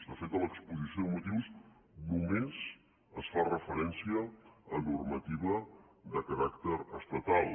de fet a l’exposició de motius només es fa referència a normativa de caràcter estatal